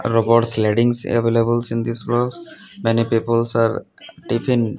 robots leggings available in this blog many people are tiffin --